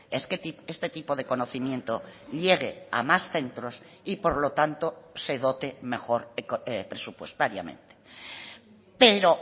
es que este tipo de conocimiento llegue a más centros y por lo tanto se dote mejor presupuestariamente pero